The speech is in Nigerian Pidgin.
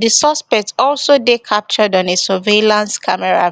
di suspect also dey captured on a surveillance camera